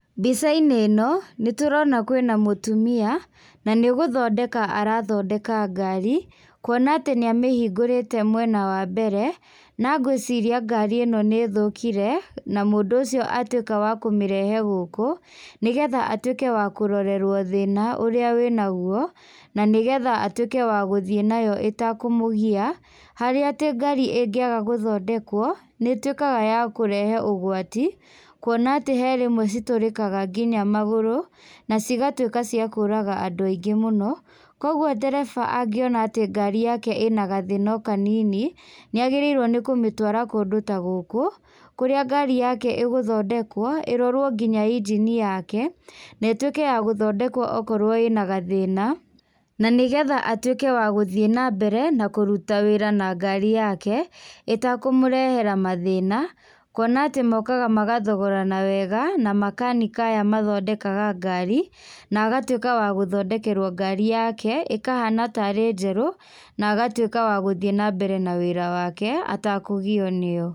Mbicainĩ ĩno, nĩtũrona kwĩna mũtumia, na nigũthondeka arathondeka ngari, kuona atĩ nĩamĩhingũrĩte mwena wa mbere, na ngwicria ngari ĩno nĩithũkire, na mũndũ ũcio atuika wakũmĩrehe gũkũ, nĩgetha atuĩke wa kũrorerwo thĩna ũrĩa wĩ naguo, nanigetha atuĩke wa gũthiĩ nayo ĩtakũmũgia, harĩa atĩ ngari ingiaga gũthondekwo, nĩituikaga ya kũrehe ũgwati, kwona atĩ kwĩ rĩmwe citũrĩkaga nginya maguru, nacigatuika cia kũraga andũ aingĩ mũno, Koguo ndereba angiona atĩ ngari yake ĩna gathĩna o kanini, nĩagĩrĩirwo nĩ kũmĩtwara kũndũ ta gũkũ, kũrĩa ngari yake igũthondekwo, irirwo nginya inji ni yake, na ĩtuĩke ya gũthondekwo okorwo ĩna gathĩna, na nĩgetha atuike wa gũthiĩ na mbere na kũruta wĩra na ngari yake, ĩtakũmũrehera mathina, kuona atĩ mokagathogorana nwega, na makanika aya mathondekaga ngari, na agatuika wa gũthondekerwo ngari yake, ĩkahana tarĩ njerũ, na agatuika wa gũthiĩ nambere na wĩra wake, atakũgio nĩyo.